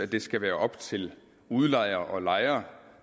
det skal være op til udlejer og lejer